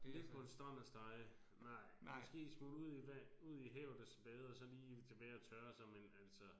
Ligge på en strand og stege nej. Måske smutte ud i ud i havet og bade og så lige tilbage og tørre sig men altså